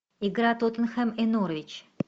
игра тоттенхэм и норвич